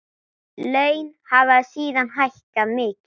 Laun hafa síðan hækkað mikið.